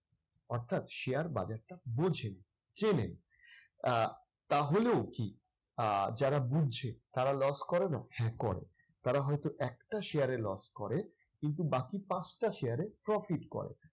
অর্থাৎ share বাজার টা বোঝেন, চেনেন। আহ তাহলেও কি আহ যারা বুঝছে তারা loss করে না? হ্যাঁ করে, তারা হয়তো একটা share এ loss করে। কিন্তু বাকি পাঁচটা share এ profit করে।